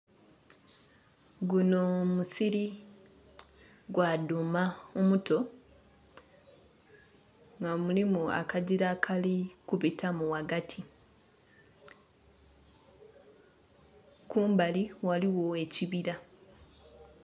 Guno musiri gwa dhuuma omuto nga mulimu akagira akali kubitamu ghagati kumbali ghaligho ekibira.